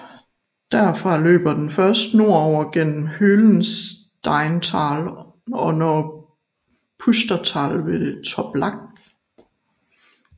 Derfra løber den først nordover gennem Höhlensteintal og når Pustertal ved Toblach